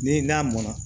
Ni n'a mɔnna